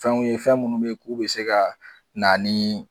Fɛn ye fɛn minnu bɛ k'u bɛ se ka na ni